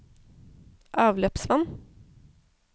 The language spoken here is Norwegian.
avløpsvann